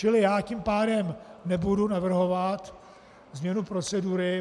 Čili já tím pádem nebudu navrhovat změnu procedury.